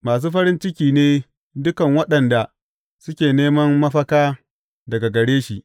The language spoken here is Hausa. Masu farin ciki ne dukan waɗanda suke neman mafaka daga gare shi.